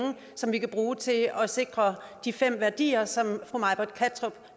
som vi kan bruge til at at sikre de fem værdier som fru may britt kattrup